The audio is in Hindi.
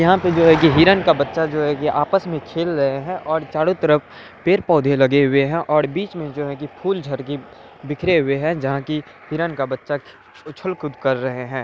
यहाँ पे जो है की हिरण का बच्चा जो है कि आपस में खेल रहे हैं और चारों तरफ पेड़-पौधे लगे हुए हैं और बीच में जो है कि फूल झर के बिखरे हुए हैं जहाँ की हिरण का बच्चा खे उछल-कूद कर रहे हैं।